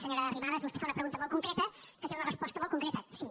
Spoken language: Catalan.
senyora arrimadas vostè fa una pregunta molt concreta que té una resposta molt concreta sí